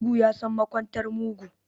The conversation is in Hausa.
Mugu yasan makwantar mugu